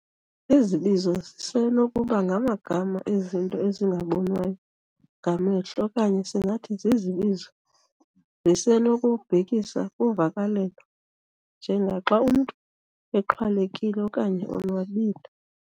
Izibizo zisenokuba ngamagama ezinto ezingabonwayo ngamehlo okanye singathi izibizo zisenokubhekisa kuvakalelo njengaxa umntu exhwalekile okanye onwabile'.